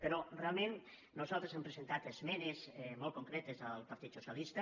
però realment nosaltres hem presentat esmenes molt concretes al partit socialista